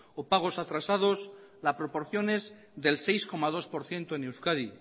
o pagos atrasados la proporción es del seis coma dos por ciento en euskadi